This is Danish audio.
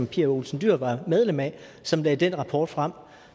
pia olsen dyhr var medlem af som lagde den rapport frem